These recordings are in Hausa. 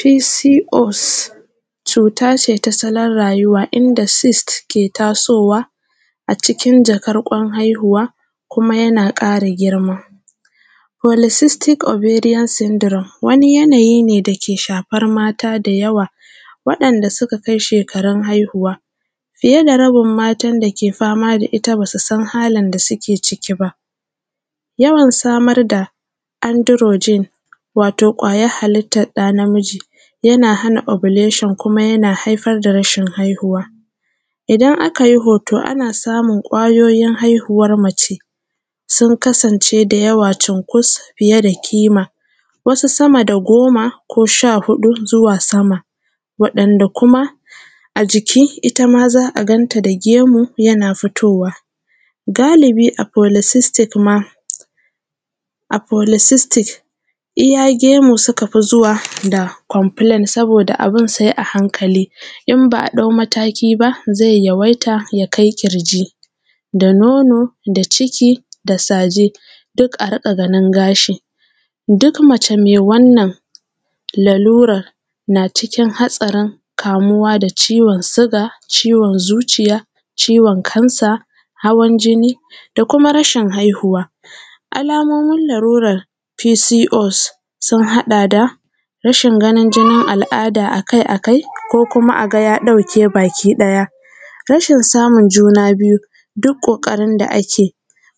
Pcos cuta ce ta asalin rayuwa in da sist ke tasowa a cikin jakar kwan haihuwa kuma yana kara girma politistic ovarian syndrome wani yanayi ne da ke shafar mata da yawa waɗanda suka kai shekarun haihuwa. Fiye da rabin matan da ke fama da ita ba su san halin da suke ciki ba, yawan samar da androgyne watan ƙwayar halittar ɗa namiji yana hana ovulation kuma yana haifar da rashin haihuwa, idan aka yi hoto ana samun kwayoyin haihuwan mace sun kasance da yawa cunkus fiye da ƙima wasu sama da goma ko sha huɗu zuwa sama waɗanda kuma a jiki itama za a ganta da gemu yana fitowa. Galibi a policistic ma iya gemu suka fi zuwa da complain saboda abun sai a hankali in ba a ɗau mataki ba zai yawaita ya kai ƙirji da nono da ciki da saje duk a rinƙa ganin gashi, duk mace mai wannan laluran na cikin hatsarin kamuwa da ciwon suga, ciwon zuciya, ciwon kansa, hawan jini da kuma rashin haihuwa. Alamomin lalluran pcos sun haɗa da rashin ganin jinin al’ada akai-akai ko kuma a ga ya ɗauke bakiɗaya, rashin samun juna biyu, duk ƙoƙarin da ake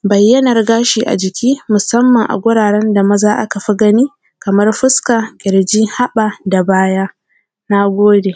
bayyanan gashi a waje musamman, a wuraren da maza aka fi gani kamar fuska ƙirji haɓa da baya. Na gode.